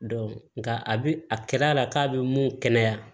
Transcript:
nka a bi a kɛr'a la k'a bɛ mun kɛnɛya